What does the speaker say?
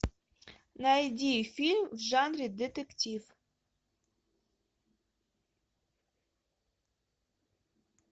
найди фильм в жанре детектив